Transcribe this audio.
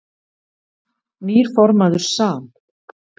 Nýr formaður SAM